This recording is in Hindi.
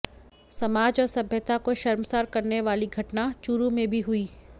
समाज और सभ्यता को शर्मसार करने वाली घटना चुरू में भी हुई